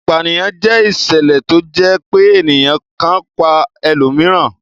Ìpanìyàn jẹ́ ìṣẹ̀lẹ̀ tó jẹ́ pé ènìyàn kan pa ẹlòmíràn.